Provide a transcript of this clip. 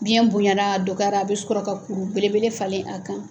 Biyɛn bonyana a dɔgɔyara a bɛ sɔrɔ ka kuru belebele falen a kan.